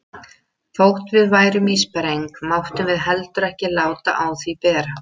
Þótt við værum í spreng máttum við heldur ekki láta á því bera.